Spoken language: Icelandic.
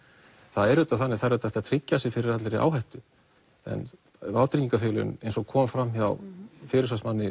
það er auðvitað þannig að það er hægt að tryggja sig fyrir allri áhættu en vátryggingafélögin eins og kom fram hjá